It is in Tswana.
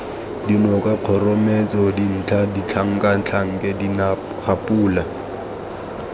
dinoka kgogometso dintlha ditlhakatlhake dinagapula